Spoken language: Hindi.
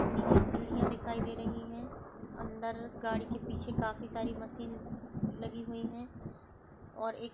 --नीचे सीढ़ियां दिखाई दे रही हैं अंदर गाड़ी के पीछे काफी सारी मशीन लगी हुई है और एक --